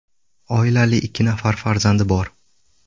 Oilali, ikki nafar farzandi bor.